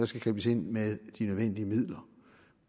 skal gribes ind med de nødvendige midler